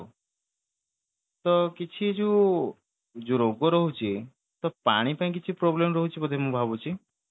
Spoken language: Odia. ତ କିଛି ଯୋଉ ଯୋଉ ରୋଗ ରହୁଛି ତ ପାଣି ପାଇଁ କିଛି problem ରହୁଛି ବୋଧେ ମୁଁ ଭାବୁଛି